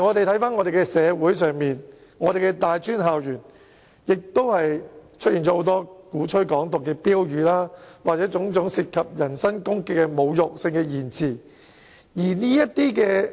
香港社會和大專校園最近也出現了很多鼓吹"港獨"的標語，以及種種涉及人身攻擊的侮辱性言詞。